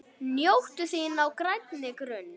Njóttu þín á grænni grund.